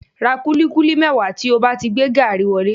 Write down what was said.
Ra kúlíkúlí mẹ́wàá tí ó bá ti gbé gaàrí wọlé